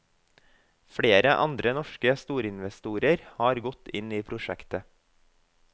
Flere andre norske storinvestorer er gått inn i prosjektet.